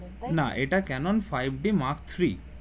না এটা Canon five d mark three